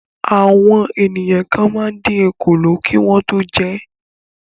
Àwọn ènìyàn kan máa ń dín òkòló kí wọ́n tó jẹ ẹ́.